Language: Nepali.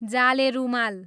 जाले रूमाल